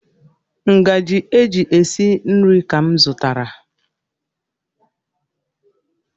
Ngaji e ji esi nri ka m zụtara.